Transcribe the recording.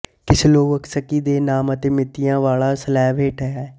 Kieslowski ਦੇ ਨਾਮ ਅਤੇ ਮਿਤੀਆਂ ਵਾਲਾ ਸਲੈਬ ਹੇਠਾਂ ਹੈ